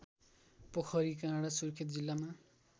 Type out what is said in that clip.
पोखरीकाँडा सुर्खेत जिल्लामा